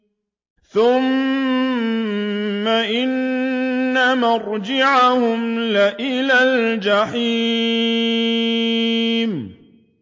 ثُمَّ إِنَّ مَرْجِعَهُمْ لَإِلَى الْجَحِيمِ